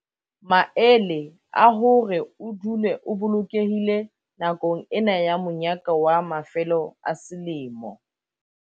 Maele a hore o dule o bolokehile nakong ena ya monyaka wa mafelo a selemo